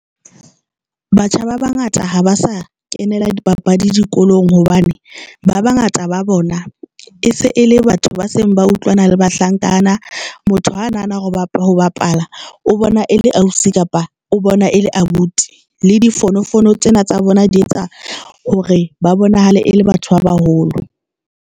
Batjha ba bangata ha ba sa kenela di papadi dikolong hobane ba bangata ba bona e se e le batho ba seng ba utlwana le bahlankana. Motho ha nahana hore ho bapala o bona e le ausi kapa o bona e le abuti le difono fono tsena tsa bona di etsa hore ba bonahala e le batho ba baholo.